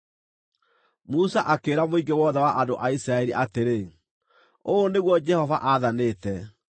Musa akĩĩra mũingĩ wothe wa andũ a Isiraeli atĩrĩ, “Ũũ nĩguo Jehova aathanĩte: